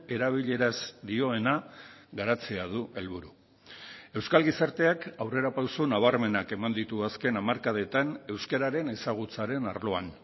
erabileraz dioena garatzea du helburu euskal gizarteak aurrerapauso nabarmenak eman ditu azken hamarkadetan euskararen ezagutzaren arloan